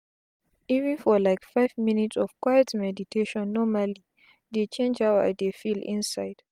even for like five minutes of quiet meditation normali dey change how i dey feel inside